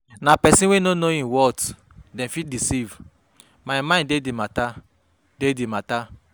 Na pesin wey no know im worth dem fit deceive, my mind dey di mata, dey di mata